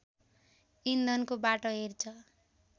इन्धनको बाटो हेर्छ